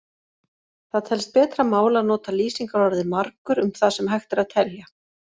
Það telst betra mál að nota lýsingarorðið margur um það sem hægt er að telja.